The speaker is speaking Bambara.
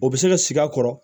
O bɛ se ka sigi a kɔrɔ